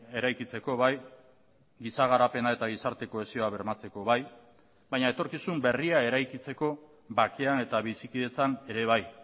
eraikitzeko bai giza garapena eta gizarte kohesioa bermatzeko bai baina etorkizun berria eraikitzeko bakean eta bizikidetzan ere bai